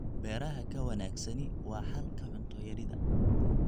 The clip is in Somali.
Beeraha ka wanaagsani waa xalka cunto yarida.